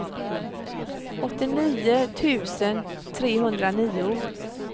åttionio tusen trehundranio